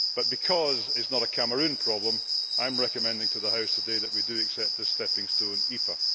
but because it is not a Cameroon problem, I am recommending to the House today that we accept this stepping stone EPA.